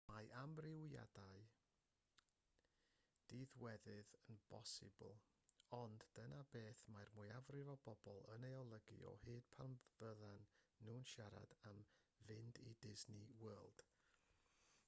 mae amrywiadau diddiwedd yn bosibl ond dyma beth mae'r mwyafrif o bobl yn ei olygu o hyd pan fyddan nhw'n siarad am fynd i disney world